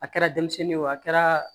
A kɛra denmisɛnnin ye o a kɛra